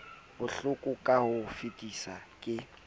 bohloko ka ho fetisisa ke